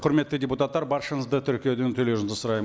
құрметті депутаттар баршаңызды тіркеуден өтулеріңізді сұраймын